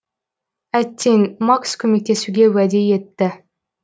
әттең макс көмектесуге уәде етті